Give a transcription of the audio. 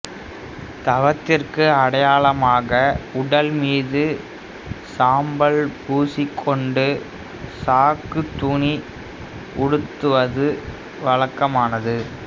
தவத்திற்கு அடையாளமாக உடல்மீது சாம்பல் பூசிக்கொண்டு சாக்குத் துணி உடுத்துவதும் வழக்கமானது